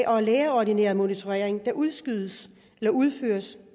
og lægeordineret monitorering der udskydes eller udføres